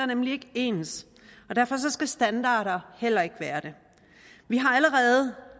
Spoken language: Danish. nemlig ikke ens og derfor skal standarder heller ikke være det vi har allerede